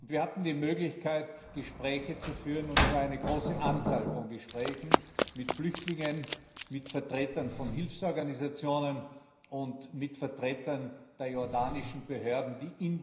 Wir hatten die Möglichkeit, Gespräche zu führen, und zwar eine große Anzahl von Gesprächen mit Flüchtlingen, mit Vertretern von Hilfsorganisationen und mit Vertretern der jordanischen Behörden, die in